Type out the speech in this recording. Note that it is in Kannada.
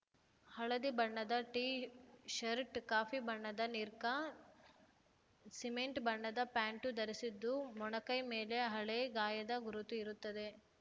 ಹಳದಿ ಬಣ್ಣದ ಟೀ ಷರ್ಟ್‌ ಕಾಫಿ ಬಣ್ಣದ ನಿಕ್ಕರ್‌ ಸಿಮೆಂಟ್‌ ಬಣ್ಣದ ಪ್ಯಾಂಟು ಧರಿಸಿದ್ದು ಮೊಣಕೈ ಮೇಲೆ ಹಳೆ ಗಾಯದ ಗುರುತು ಇರುತ್ತದೆ